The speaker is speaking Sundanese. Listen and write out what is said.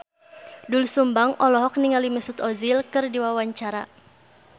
Doel Sumbang olohok ningali Mesut Ozil keur diwawancara